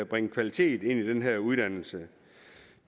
bringe kvalitet ind i den her uddannelse